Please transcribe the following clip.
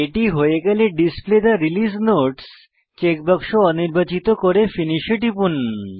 এটি হয়ে গেলে display the release notes checkbox অনির্বাচিত করে ফিনিশ এ টিপুন